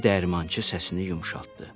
deyə dəyirmançı səsini yumşaltdı.